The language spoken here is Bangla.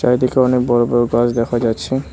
চারিদিকে অনেক বড় বড় গাছ দেখা যাচ্ছে।